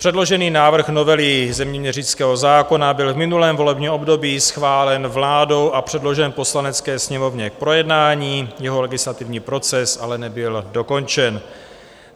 Předložený návrh novely zeměměřického zákona byl v minulém volebním období schválen vládou a předložen Poslanecké sněmovně k projednání, jeho legislativní proces ale nebyl dokončen.